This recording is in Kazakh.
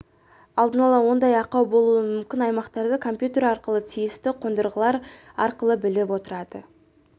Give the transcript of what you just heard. алдын ала ондай ақау болуы мүмкін аймақтарды компьютер арқылы тиісті қондырғылар арқылы біліп отырады